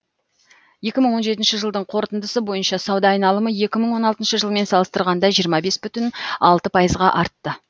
екі мың он жетінші жылдың қорытындысы бойынша сауда айналымы екі мың он алтыншы жылмен салыстырғанда жиырма бес бүтін алты пайызға артты